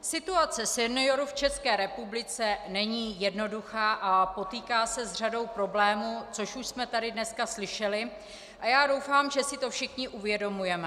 Situace seniorů v České republice není jednoduchá a potýká se s řadou problémů, což už jsme tady dneska slyšeli, a já doufám, že si to všichni uvědomujeme.